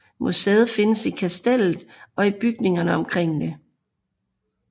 Museet findes i Kastellet og i bygningerne omkring det